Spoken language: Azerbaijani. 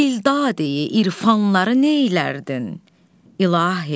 Dildadeyi irfanları neylərdin, İlahi?